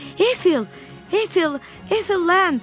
Efil, Efil, Efland!